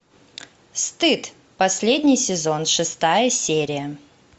стыд последний сезон шестая серия